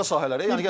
Başqa sahələrə.